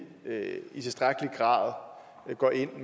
i tilstrækkelig grad går ind og